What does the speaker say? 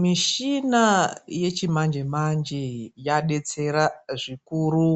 Mishina yechimanje manje yadetsera zvikuru